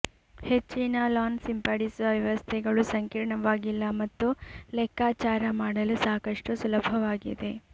ಹೆಚ್ಚಿನ ಲಾನ್ ಸಿಂಪಡಿಸುವ ವ್ಯವಸ್ಥೆಗಳು ಸಂಕೀರ್ಣವಾಗಿಲ್ಲ ಮತ್ತು ಲೆಕ್ಕಾಚಾರ ಮಾಡಲು ಸಾಕಷ್ಟು ಸುಲಭವಾಗಿದೆ